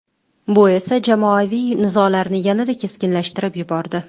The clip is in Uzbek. Bu esa jamoaviy nizolarni yanada keskinlashtirib yubordi.